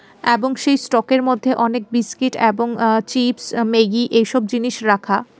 এবং সেই স্টকের মধ্যে অনেক বিস্কিট এবং আ চিপস ম্যাগি এইসব জিনিস রাখা.